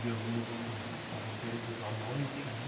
Jesus com as ovelhas à noite, né?